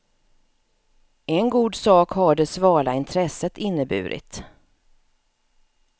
En god sak har det svala intresset inneburit.